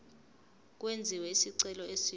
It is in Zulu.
kwenziwe isicelo esisha